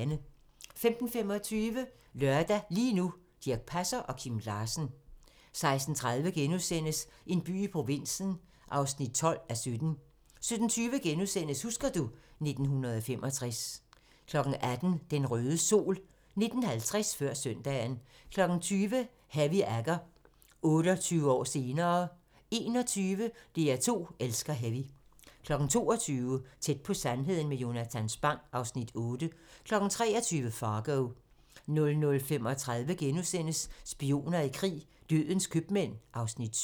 15:25: Lørdag - lige nu: Dirch Passer og Kim Larsen 16:30: En by i provinsen (12:17)* 17:20: Husker du ... 1965 * 18:00: Den røde sol 19:50: Før søndagen 20:00: Heavy Agger - 28 år senere 21:00: DR2 elsker heavy 22:00: Tæt på sandheden med Jonatan Spang (Afs. 8) 23:00: Fargo 00:35: Spioner i krig: Dødens købmand (Afs. 7)*